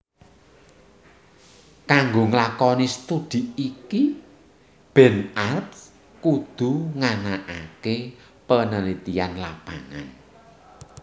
Kanggo nglakoni studhi iki Ben Arps kudu nganakaké penelitian lapangan